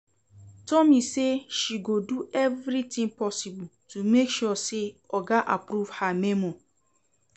Tomi say she go do everything possible to make sure say oga approve her memo